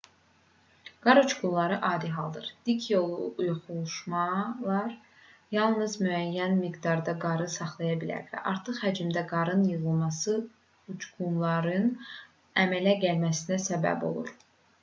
qar uçqunları adi haldır dik yoxuşlar yalnız müəyyən miqdarda qarı saxlaya bilər və artıq həcmdə qarın yığılması uçqunların əmələ gəlməsinə səbəb olur